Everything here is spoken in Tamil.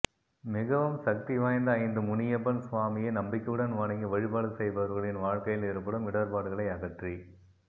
மிகவும் சக்தி வாய்ந்த ஐந்து முனியப்பன் சுவாமியை நம்பிக்கையுடன் வணங்கி வழிபாடு செய்பவர்களின் வாழ்க்கையில் ஏற்படும் இடர்பாடுகளை அகற்றி